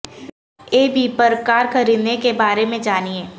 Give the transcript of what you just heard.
ای V پر car خریدنے کے بارے میں جانیں